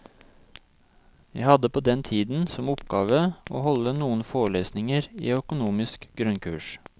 Jeg hadde på den tiden som oppgave å holde noen forelesninger i økonomisk grunnkurs.